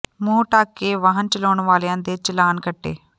ਮੰੂਹ ਢੱਕ ਕੇ ਵਾਹਨ ਚਲਾਉਣ ਵਾਲਿਆਂ ਦੇ ਚਲਾਨ ਕੱਟੇ